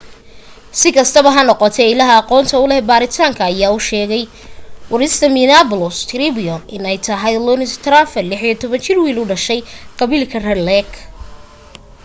sikastaba ha noqotee illaha aqoonta uleh baaritaanka ayaa u sheegay warsidaha minneapolis _tribune in ay tahay louis traveldan ,16 jir wiil u dhashay qabiilka red lake